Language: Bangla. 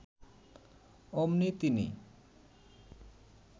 অমনি তিনি